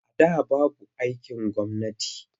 A da babu aikin gwamnati.